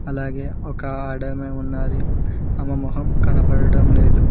అలాగే ఒక ఆడ ఆమె ఉన్నది ఆమె మొహం కనబడటం లేదు.